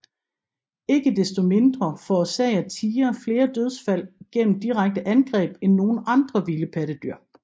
Ikke desto mindre forårsager tigre flere dødsfald gennem direkte angreb end nogen andre vilde pattedyr